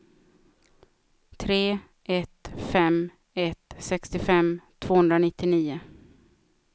tre ett fem ett sextiofem tvåhundranittionio